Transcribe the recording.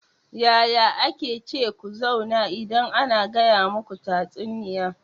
Yaya ake ce ku zauna idan ana gaya muku tatsuniya?